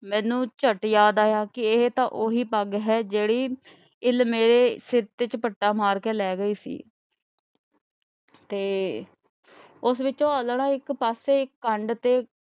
ਮੈਨੂੰ ਝੱਟ ਯਾਦ ਆਇਆ ਕਿ ਇਹ ਤਾਂ ਉਹੀ ਪੱਗ ਹੈ ਜਿਹੜੀ ਇੱਲ ਮੇਰੇ ਸਿਰ ਤੇ ਝਪੱਟਾ ਮਾਰ ਕੇ ਲਏ ਗਈ ਸੀ ਤੇ ਉਸ ਵਿੱਚੋ ਆਲ੍ਹਣਾ ਇਕ ਪਾਸੇ ਇਕ ਪੰਡ ਤੇ,